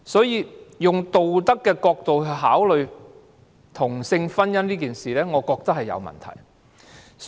因此，以道德的角度考慮同性婚姻這事，我覺得是有問題的。